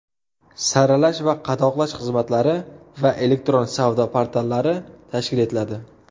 saralash va qadoqlash xizmatlari va elektron savdo portallari tashkil etiladi;.